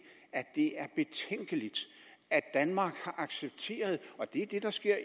at det er betænkeligt at danmark har accepteret og det er det der sker